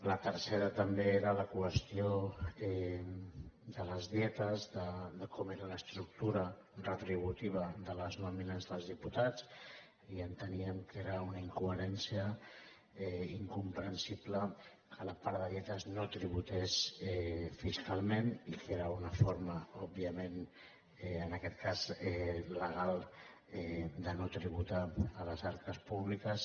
la tercera també era la qüestió de les dietes de com era l’estructura retributiva de les nòmines dels diputats i enteníem que era una incoherència incomprensible que la part de dietes no tributés fiscalment i que era una forma òbviament en aquest cas legal de no tributar a les arques públiques